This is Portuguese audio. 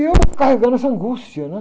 E eu carregando essa angústia, né?